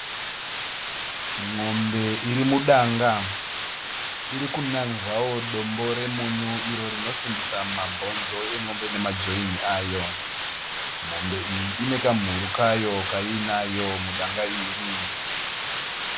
N'ombe iri mudanga. Iri kunanzvawo dombo remunyu iro rinosimbisa mabhonzo en'ombe nema join ayo. Mombe iyi ine kamhuru kayo kaiinayo mudanga iri.